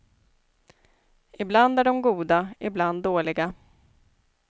Ibland är de goda, ibland dåliga.